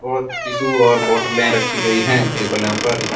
और टिशु और बोतलें रखी गई है टेबलो पर।